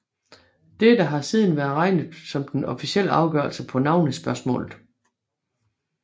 Dette har siden været regnet som den officielle afgørelse på navnespørgsmålet